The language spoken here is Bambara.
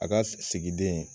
A ka sigiden